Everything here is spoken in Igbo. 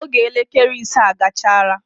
Oge elekele ise gachara.